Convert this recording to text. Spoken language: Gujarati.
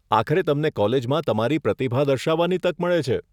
આખરે તમને કોલેજમાં તમારી પ્રતિભા દર્શાવવાની તક મળે છે.